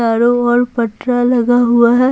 चारों और पटरा लगा हुआ है।